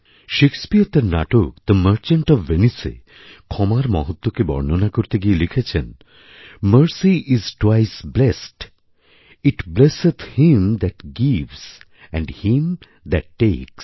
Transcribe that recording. শেক্সপীয়রতাঁর নাটক the merchant of ভেনিসএ ক্ষমার মহত্বকে বর্ণনা করতে গিয়ে লিখেছেন mercy is twice blest it blesseth him that gives and him that tax